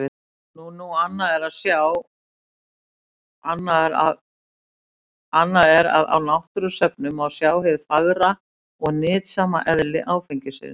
Nú nú, annað er að á náttúrusöfnum má sjá hið fagra og nytsama eðli áfengisins.